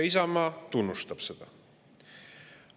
Isamaa tunnustab seda.